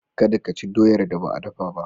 Kada ka ci doyar da ba a dafa ba.